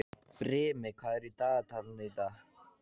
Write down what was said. Brimi, hvað er í dagatalinu í dag?